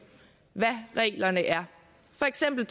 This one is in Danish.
hvad reglerne er for eksempel